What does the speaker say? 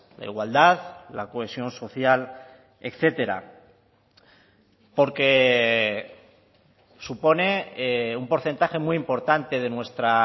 la igualdad la cohesión social etcétera porque supone un porcentaje muy importante de nuestra